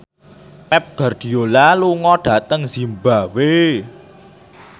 Pep Guardiola lunga dhateng zimbabwe